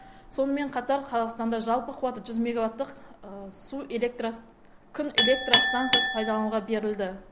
сонымен қатар қазақстанда жалпы қуаты жүз меговаттық күн электростанциясы пайдалануға берілді